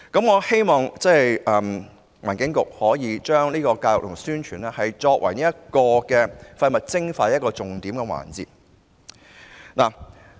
我希望環境局把宣傳教育視為廢物徵費的重點。